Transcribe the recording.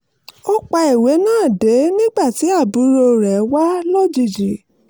ó pa ìwé náà dé nígbà tí àbúrò rẹ̀ wá lójijì